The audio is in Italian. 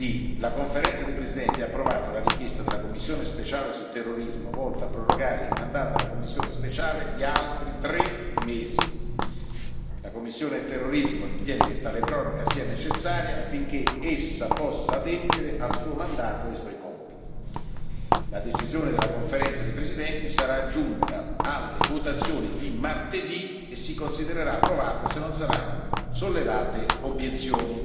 Martedì La Conferenza dei presidenti ha approvato la richiesta della commissione speciale sul terrorismo volta a prorogare il mandato della commissione speciale di altri due mesi. La commissione sul terrorismo ritiene che tale proroga sia necessaria affinché essa possa adempiere al suo mandato e ai suoi compiti. La decisione della Conferenza dei presidenti sarà aggiunta alle votazioni di martedì e si considererà approvata se non saranno sollevate obiezioni.